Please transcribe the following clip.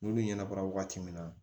N'olu ɲɛnabɔra waati min na